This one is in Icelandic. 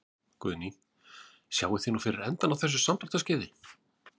Guðný: Sjáið þið nú fyrir endann á þessu samdráttarskeiði?